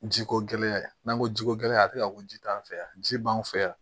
Ji ko gɛlɛya n'an ko jiko gɛlɛya tɛ ka ko ji t'an fɛ yan ji b'an fɛ yan